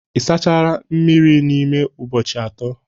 ị sachala mmiri mmiri n'ime ụbọchị atọ?